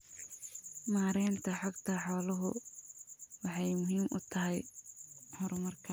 Maareynta xogta xooluhu waxay muhiim u tahay horumarka.